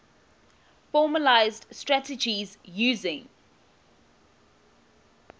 formalised strategies using